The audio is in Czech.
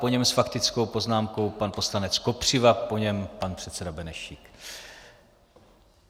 Po něm s faktickou poznámkou pan poslanec Kopřiva, po něm pan předseda Benešík.